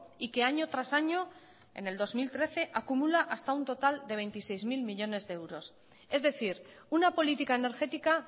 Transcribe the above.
y que año tras año en el dos mil trece acumula hasta un total de veintiséis mil millónes de euros es decir una política energética